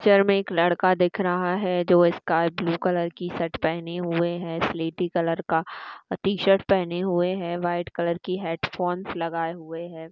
Picture में एक लड़का दिख रहा है जो स्काई ब्लू कलर की शर्ट पहने हुए है सिलेटी कलर का टी-शर्ट पहने हुए है व्हाइट कलर की हेड फोंस लगाए हुए हैं।